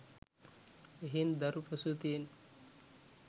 එහෙයින් දරු ප්‍රසූතියෙන්